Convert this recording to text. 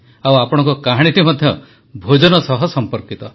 ଆଉ ଆପଣଙ୍କ କାହାଣୀଟି ମଧ୍ୟ ଭୋଜନ ସହ ସର୍ମ୍ପକିତ